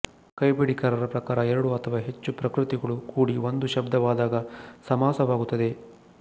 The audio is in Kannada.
ಕೈಪಿಡಿಕಾರರ ಪ್ರಕಾರ ಎರಡು ಅಥವಾ ಹೆಚ್ಚು ಪ್ರಕೃತಿಗಳು ಕೂಡಿ ಒಂದು ಶಬ್ದವಾದಾಗ ಸಮಾಸವಾಗುತ್ತದೆ